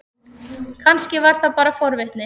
Kannski var það bara forvitni.